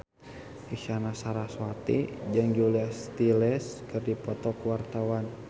Isyana Sarasvati jeung Julia Stiles keur dipoto ku wartawan